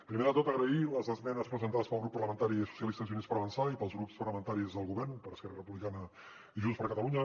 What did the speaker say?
primer de tot agrair les esmenes presentades pel grup parlamentari socialistes i units per avançar i pels grups parlamentaris del govern per esquerra republicana i junts per catalunya